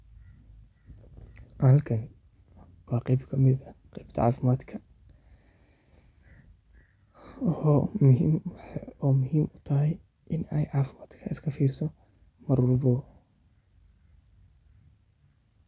Halkan waa qeeb kmid aah qeebta caafimadkah oo muhiim utahay inad caafimad kaga iskafiiriso marwalbo .